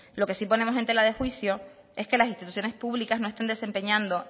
lo que sí ponemos en tela de juicio es que las instituciones públicas no estén desempeñando